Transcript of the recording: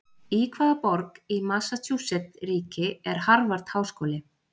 Í hvaða borg í Massachusettsríki er Harvard-háskóli?